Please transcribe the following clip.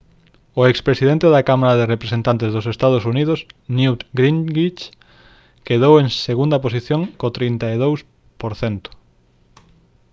o expresidente da cámara de representantes dos ee. uu. newt gingrich quedou en segunda posición co 32 %